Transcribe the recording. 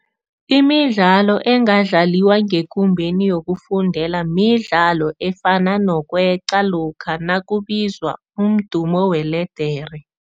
Imidlalo engadlaliwa ngekumbeni yokufundela midlalo efana nokweqa lokha nakubizwa umdumo weledere.